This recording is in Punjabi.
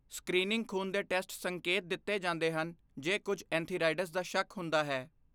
ਸਕ੍ਰੀਨਿੰਗ ਖੂਨ ਦੇ ਟੈਸਟ ਸੰਕੇਤ ਦਿੱਤੇ ਜਾਂਦੇ ਹਨ ਜੇ ਕੁੱਝ ਐਂਥੀਰਾਈਡਜ਼ ਦਾ ਸ਼ੱਕ ਹੁੰਦਾ ਹੈ।